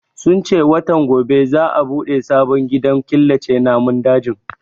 Sun ce watan gobe za a bude sabon gidan killace namun dajin